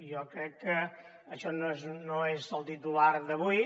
jo crec que això no és el titular d’avui